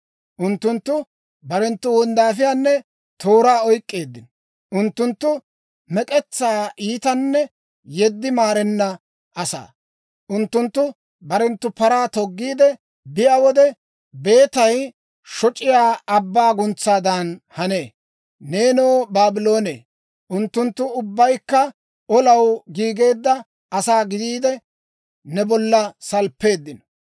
Unttunttu barenttu wonddaafiyaanne tooraa oyk'k'eeddino; unttunttu mek'etsaa iitanne yeddi maarenna asaa. Unttunttu barenttu paraa toggiide biyaa wode, beetay shoc'iyaa abbaa guntsaadan hanee. Neenoo, Baabloone, unttunttu ubbaykka olaw giigeedda asaa gidiide, ne bollan salppeeddino.